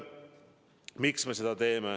Miks me seda teeme?